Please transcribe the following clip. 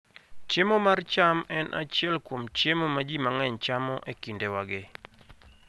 Chiemo mar cham en achiel kuom chiemo ma ji mang'eny chamo e kindewagi.